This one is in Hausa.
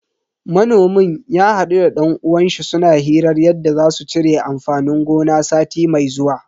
Manomin ya hadu da dan uwanshi suna hirar yadda za su cire amfanin gona sati mai zuwa.